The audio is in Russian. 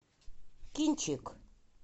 кинчик